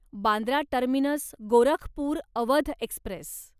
Bandra terminus Gorakhpur Awadh Express